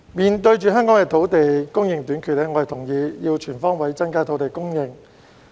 面對香港土地供應短缺，我同意要全方位增加土地供應。